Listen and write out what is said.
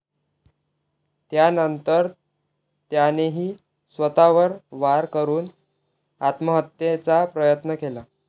त्यानंतर त्यानेही स्वतःवर वार करून आत्महत्येचा प्रयत्न केला